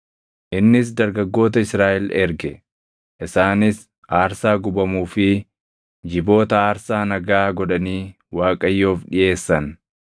Innis dargaggoota Israaʼel erge; isaanis aarsaa gubamuu fi jiboota aarsaa nagaa godhanii Waaqayyoof dhiʼeessan.